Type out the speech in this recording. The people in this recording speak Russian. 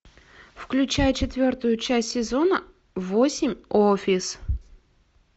включай четвертую часть сезона восемь офис